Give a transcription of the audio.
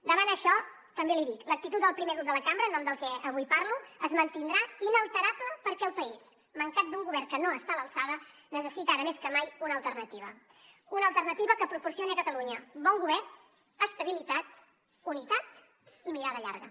davant això també l’hi l’actitud del primer grup de la cambra en nom del que avui parlo es mantindrà inalterable perquè el país mancat d’un govern que no està a l’alçada necessita ara més que mai una alternativa una alternativa que proporcioni a catalunya bon govern estabilitat unitat i mirada llarga